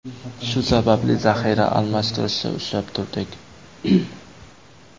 Shu sababli zaxira almashtirishni ushlab turdik.